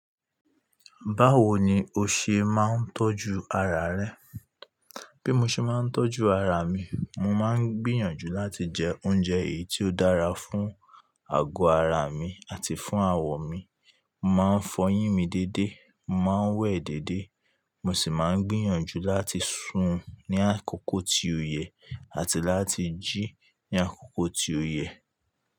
Báwo ni o ṣe máa ń tọ́jú ara rẹ? Bí mo ṣe máa ń tọ́jú ara mi, mo máa ń gbìyànjú láti jẹ oúnjẹ èyí tí ó dára fún àgọ́ ara mi àti fún àwọ̀ mi. Mo máa ń fọyín mi déédé, mo máa ń wẹ̀ déédé, mo sì máa ń gbìyànjú láti sùn ní àkókò tí ó yẹ àti láti jí ní àkókò tí ó yẹ.